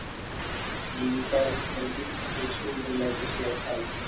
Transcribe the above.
limit च्या वर volume WHO बोलण्यात उशिरा आहे.